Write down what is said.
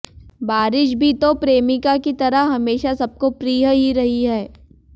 बारिश भी तो प्रेमिका की तरह हमेशा सबको प्रिय ही रही है